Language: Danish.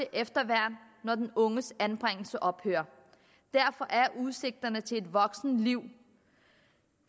efterværn når den unges anbringelse ophører derfor er udsigterne til et rimeligt voksenliv